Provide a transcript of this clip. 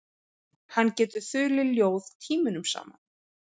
Hann getur þulið ljóð tímunum saman.